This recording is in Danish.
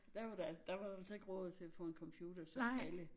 Der var der der var der altså ikke råd til at få en computer til alle